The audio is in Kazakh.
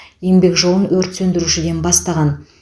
еңбек жолын өрт сөндірушіден бастаған